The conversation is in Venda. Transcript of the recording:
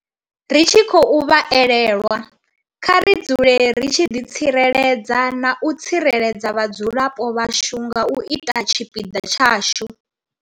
Ri tshi khou vha elelwa, kha ri dzule ri tshi ḓitsireledza na u tsireledza vhadzulapo vhashu nga u ita tshipiḓa tshashu.